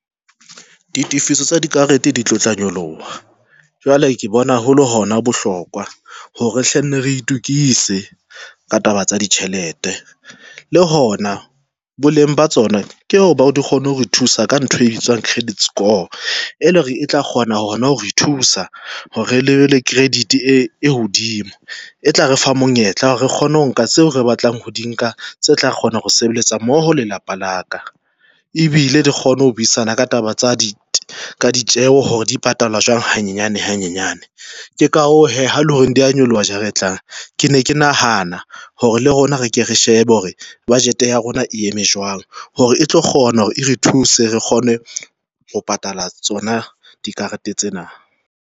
Ditefiso tsa dikarete di tlo tla nyoloha, jwale ke bona haholo hona bohlokwa hore hle nne re itokise ka taba tsa ditjhelete le hona boleng ba tsona ke o ba di kgone ho thusa ka ntho e bitswang credit score e le hore e tla kgona ho hona ho re thusa hore re be le credit e hodimo. E tla re fa monyetla re kgone ho nka seo re batlang ho di nka tse tla kgona ho sebetsa mmoho lelapa la ka, ebile re kgone ho buisana ka taba tsa ditjeho hore dipatalalwa jwang hanyane hanyane. Ke ka hoo ha le hore di a nyoloha jara e tlang. Ke ne ke nahana hore le rona re ke re shebe hore budget ya rona e eme jwang, hore e tlo kgona hore e re thuse re kgone ho patala tsona dikarete tsena.